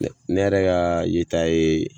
ne yɛrɛ ka yeta ye